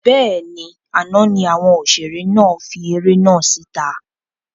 Bẹ́ẹ̀ni, àná ni àwọn òṣèré náà fi eré náà síta